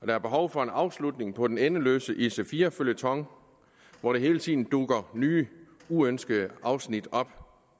der er behov for en afslutning på den endeløse ic4 føljeton hvor der hele tiden dukker nye uønskede afsnit op